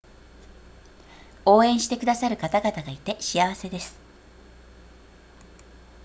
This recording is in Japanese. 応援してくださる方々がいて幸せです